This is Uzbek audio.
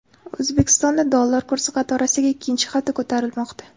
O‘zbekistonda dollar kursi qatorasiga ikkinchi hafta ko‘tarilmoqda.